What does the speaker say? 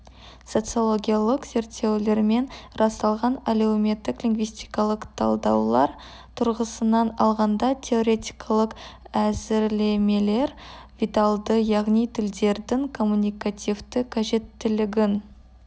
социологиялық зерттеулермен расталған әлеуметтік лингвистикалық талдаулар тұрғысынан алғанда теоретикалық әзірлемелер виталды яғни тілдердің коммуникативті қажеттілігін